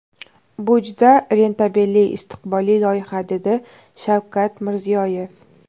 Bu juda rentabelli, istiqbolli loyiha, dedi Shavkat Mirziyoyev.